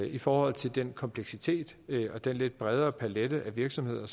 i forhold til den kompleksitet og den lidt bredere palet af virksomheder